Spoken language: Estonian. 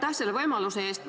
Aitäh selle võimaluse eest!